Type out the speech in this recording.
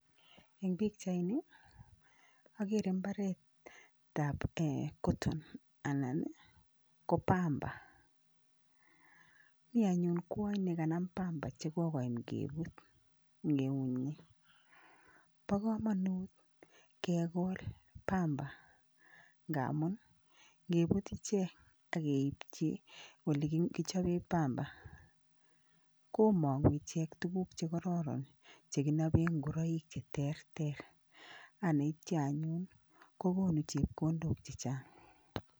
Eng' pikchaini akere mbaretab cotton anan ko pamba mi anyun kwony nekanam pamba chekokoim kebut eng' eunyi bo komonut kekol pamba ngaamun ngeput ichek akeipchi ole kichope pamba komong'u ichek tukuk chekororon chekinope ngoroik cheterter aneityo anyun kokonu chepkondok chichang'